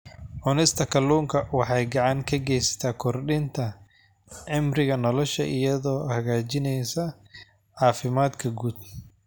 Cunista kalluunka waxay gacan ka geysataa kordhinta cimriga nolosha iyadoo hagaajinaysa caafimaadka guud.